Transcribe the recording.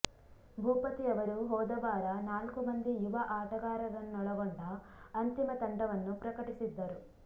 ಭೂಪತಿ ಅವರು ಹೋದವಾರ ನಾಲ್ಕು ಮಂದಿ ಯುವ ಆಟಗಾರರನ್ನೊಳಗೊಂಡ ಅಂತಿಮ ತಂಡವನ್ನು ಪ್ರಕಟಿ ಸಿದ್ದರು